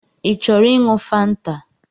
Ị chọrọ iṅụ fanta?